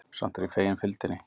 Samt var ég fegin fylgdinni.